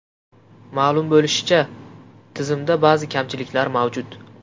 Ma’lum bo‘lishicha, tizimda ba’zi kamchiliklar mavjud.